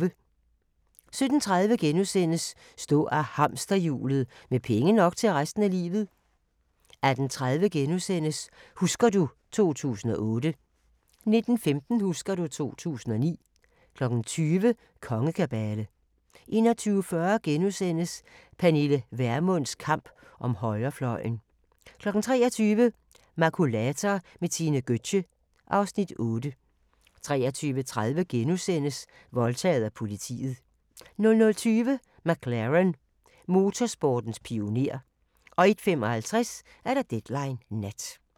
17:30: Stå af hamsterhjulet – med penge nok til resten af livet * 18:30: Husker du ... 2008 * 19:15: Husker du ... 2009 20:00: Kongekabale 21:40: Pernille Vermunds kamp om højrefløjen * 23:00: Makulator med Tine Gøtzsche (Afs. 8) 23:30: Voldtaget af politiet * 00:20: McLaren – motorsportens pioner 01:55: Deadline Nat